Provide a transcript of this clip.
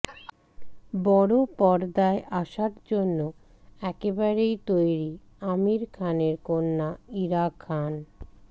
বড় পর্দায় আসার জন্য একেবারেই তৈরি আমির খানের কন্যা ইরা খান